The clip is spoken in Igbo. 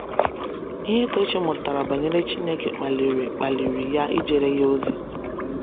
Ihe Tochi mụtara banyere Chineke kpaliri kpaliri ya ijere Ya ozi.